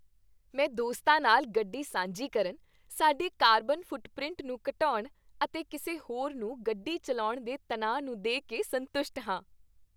ਮੈਂ ਦੋਸਤਾਂ ਨਾਲ ਗੱਡੀ ਸਾਂਝੀ ਕਰਨ, ਸਾਡੇ ਕਾਰਬਨ ਫੁੱਟਪ੍ਰਿੰਟ ਨੂੰ ਘਟਾਉਣ ਅਤੇ ਕਿਸੇ ਹੋਰ ਨੂੰ ਗੱਡੀ ਚੱਲਾਉਣ ਦੇ ਤਣਾਅ ਨੂੰ ਦੇ ਕੇ ਸੰਤੁਸ਼ਟ ਹਾਂ।